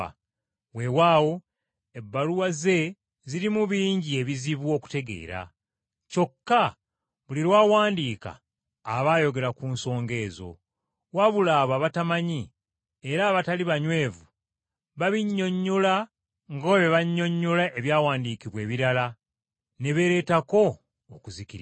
Weewaawo ebbaluwa ze zirimu bingi ebizibu okutegeera, kyokka buli lw’awandiika aba ayogera ku nsonga ezo; wabula bo abatamanyi era abatali banywevu babinnyonnyola nga bwe bannyonnyola ebyawandiikibwa ebirala ne beereetako okuzikirira.